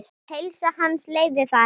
Heilsa hans leyfði það ekki.